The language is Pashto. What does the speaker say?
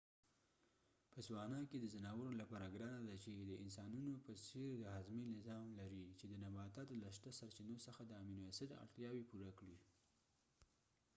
په سوانا کې دا د ځناورو لپاره ګرانه ده چې د انسنانونو په څیر د هاضمې نظام لري چې د نباتاتو له شته سرچینو څخه د امینو اسید اړتیاوې پوره کړي